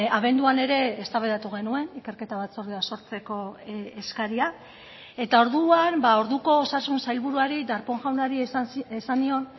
abenduan ere eztabaidatu genuen ikerketa batzordea sortzeko eskaria eta orduan orduko osasun sailburuari darpón jaunari esan nion